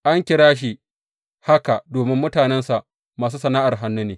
An kira shi haka domin mutanensa masu sana’ar hannu ne.